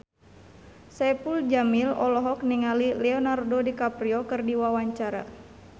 Saipul Jamil olohok ningali Leonardo DiCaprio keur diwawancara